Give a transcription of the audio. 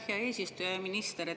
Hea minister!